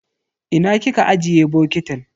Ina kika ajiye bokitin?